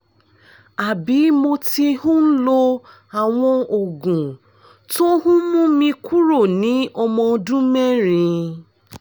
àbí mo ti ń lo àwọn oògùn tó ń mú mi kúrò ní ọmọ ọdún mẹ́rin